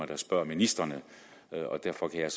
der spørger ministrene og derfor kan jeg